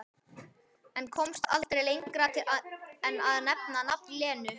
En komst aldrei lengra en að nefna nafn Lenu